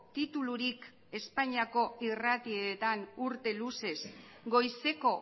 titulurik espainiako irratietan urte luzez goizeko